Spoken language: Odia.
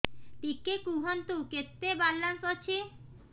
ଟିକେ କୁହନ୍ତୁ କେତେ ବାଲାନ୍ସ ଅଛି